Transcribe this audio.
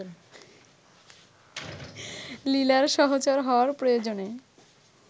লীলার সহচর হওয়ার প্রয়োজনে